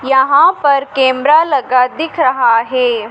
यहां पर कैमरा लगा दिख रहा है।